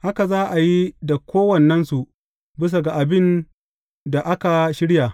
Haka za a yi da kowannensu bisa ga abin da aka shirya.